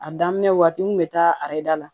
A daminɛ waati n kun be taa ayida la